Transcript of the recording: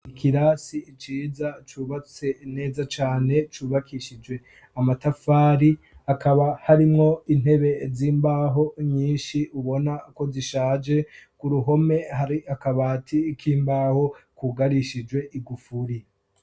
ikirasi iciza cubatse neza cyane cubakishije amatafari akaba harimwo intebe z'imbaho nyinshi ubona ko zishaje ku ruhome hari akabati ik'imbaho kugarishijwe igufuri